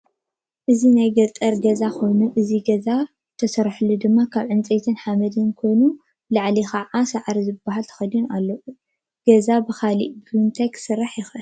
እዚ ናይ ገጠር ገዛ ኮይኑ አዚ ገዛ እዚ ዝተሰረሑ ድማ ካብ ዕንፀይትን ሓመድን ኮይኑ ብላዕሊ ከዓ ሳዕሪ በት ዝበሃል ተከዲኑ ኣሎ:: ገዛ ብካሊእ ከ ብምታይ ይስራሕ ይክእል?